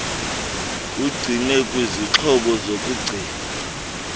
ugcinwe kwizixhobo zokugcina